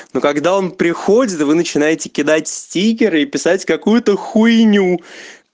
ну когда он приходит вы начинаете кидать стикеры писать какую-то хуйню